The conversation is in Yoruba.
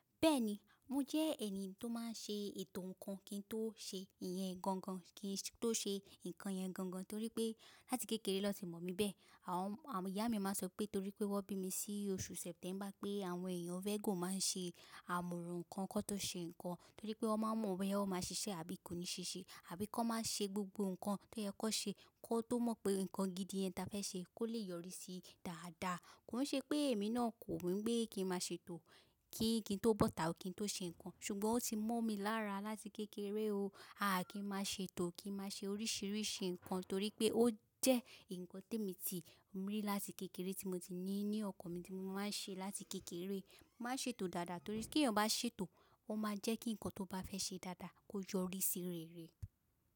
Bẹ́ẹ̀ni, mo jẹ́ ènìyàn tó má n ṣe ètò ǹkan kí n tó ṣe ìyẹn gangan, kí n tó ṣe ǹkan yẹn gangan torí pé láti kékeré ni won ti mọ̀ mí bẹ́ẹ̀. Àwọn ìyá mi má a sọ pé torí pé wọ́n bí mi sí oṣù September pé àwọn èèyàn Virgo má a n ṣe àmọ̀ràn ǹkan kí wọ́n tó ṣe ǹkan torí pé wọ́n má n mọ̀ boya o má a ṣiṣẹ́ àbí kò ní ṣiṣẹ́. Àbí ki won má a ṣe gbogbo ǹkan tó yẹ kó ṣe kó tó mọ̀ pé ǹkan gidi yen tá fẹ́ ṣe kó lè yọrí sí dáadáa. Koi ṣe pé èmi náà kò wumi pé kí n má ṣe tò kí kí n tó bọ́ta kí n tó ṣe ǹkan ṣùgbọ́n ó ti mọ̀ mí lára láti kékeré o. A kí n má ṣe tò kí n má ṣe oríṣiríṣi ǹkan torí pé ó jẹ́ ǹkan tí emi ti rí láti kékeré tí mo ti ní ní ọkàn mi tí mo má a n ṣe láti kékeré. Má ṣe etò dáadáa torí tí èèyàn bá ṣe tò ó má a jẹ́ kí ǹkan tó bá fẹ́ ṣe dáadáa kó yọrí sí rere.